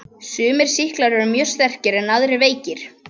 Sumir sýklar eru mjög sterkir en aðrir veikir.